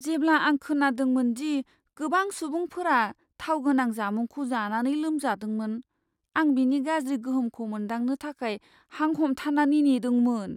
जेब्ला आं खोनादोंमोन दि गोबां सुबुंफोरा थाव गोनां जामुंखौ जानानै लोमजादोंमोन, आं बिनि गाज्रि गोहोमखौ मोनदांनो थाखाय हां हमथानानै नेदोंमोन।